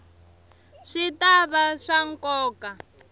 swi ta va swa nkoka